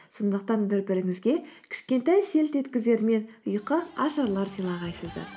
сондықтан бір біріңізге кішкентай селт еткізер мен ұйқашарлар сыйлағайсыздар